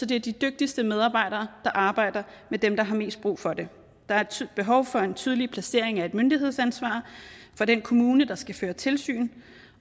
det er de dygtigste medarbejdere der arbejder med dem der har mest brug for det der er behov for en tydelig placering af et myndighedsansvar for den kommune der skal føre tilsyn